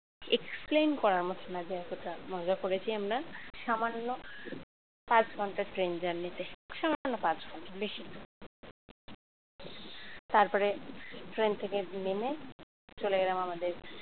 explain করার মতো না, যতটা মজা করেছি আমরা সামান্য পাঁচ ঘন্টার ট্রেন journey তে সামান্য পাঁচ ঘন্টা বেশি না তারপরে ট্রেন থেকে নেমে চলে গেলাম আমাদের